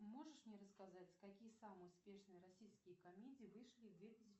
можешь мне рассказать какие самые успешные российские комедии вышли в две тысячи